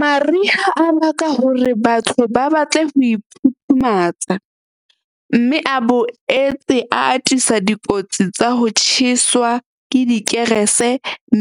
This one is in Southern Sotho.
Mariha a baka hore batho ba batle ho iphuthumatsa, mme a boetse a atisa dikotsi tsa ho tjheswa ke dikerese,